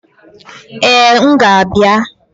Ee, m ga-abịa